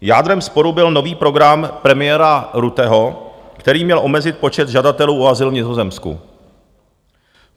Jádrem sporu byl nový program premiéra Rutteho, který měl omezit počet žadatelů o azyl v Nizozemsku.